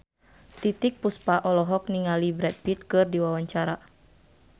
Titiek Puspa olohok ningali Brad Pitt keur diwawancara